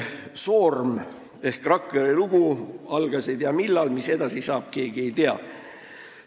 Soorm ehk Rakvere lugu: algas ei tea millal ja seda, mis edasi saab, ei tea keegi.